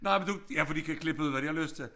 Nej men du ja for de kan klippe ud hvad de har lyst til